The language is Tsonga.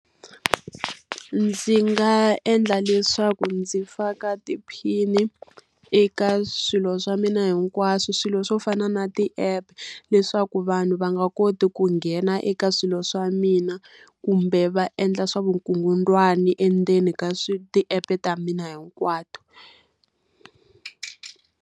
Ndzi nga endla leswaku ndzi faka tiphini eka swilo swa mina hinkwaswo. Swilo swo fana na ti-app, leswaku vanhu va nga koti ku nghena eka swilo swa mina kumbe va endla swa vukungundzwani endzeni ka ti-app-e ta mina hinkwato.